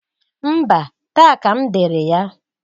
Mba! Taa ka m dere ya.